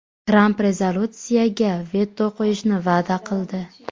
Tramp rezolyutsiyaga veto qo‘yishni va’da qildi.